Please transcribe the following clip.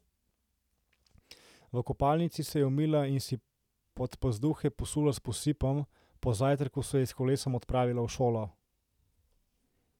V kopalnici se je umila in si podpazduhe posula s posipom, po zajtrku se je s kolesom odpravila v šolo.